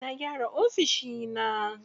Na gyara ofishi na.